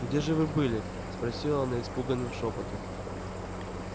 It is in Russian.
где же вы были спросила она испуганным шёпотом